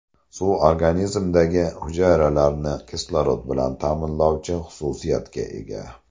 Suv organizmdagi hujayralarni kislorod bilan ta’minlovchi xususiyatga ega.